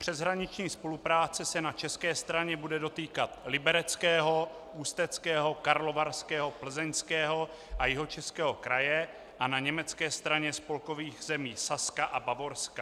Přeshraniční spolupráce se na české straně bude dotýkat Libereckého, Ústeckého, Karlovarského, Plzeňského a Jihočeského kraje a na německé straně spolkových zemí Saska a Bavorska.